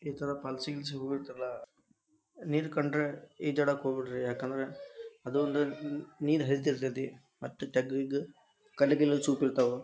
ಈ ಥರ ಫಾಲ್ಸಿಗೆ ಗೀಲ್ಸಿಗ್ ಹೋಗಿರ್ತೀರಲ್ಲ ನೀರ ಕಂಡ್ರ ಈಜಾಡಾಕ್ ಹೋಗ್ಬ್ಯಾಡ್ರಿ ಯಾಕಂದ್ರ ಅದು ಒಂದು ನೀರು ಹರೀತಿರ್ತೈತಿ ಮತ್ತ ತೆಗ್ಗು ಗಿಗ್ಗು ಕಲ್ಲು ಗಿಲ್ಲು ಚೂಪಿರ್ತಾವ.